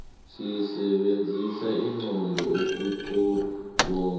sisebenzisa inqondo ukuqobonga